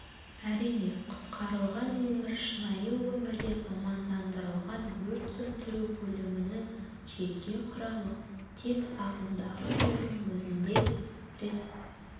әрине құтқарылған өмір шынайы өмірде мамандандырылған өрт сөндіру бөлімінің жеке құрамы тек ағымдағы жылдың өзінде рет